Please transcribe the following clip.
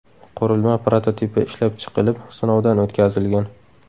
Qurilma prototipi ishlab chiqilib, sinovdan o‘tkazilgan.